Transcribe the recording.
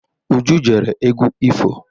Uju gere egwu ifo.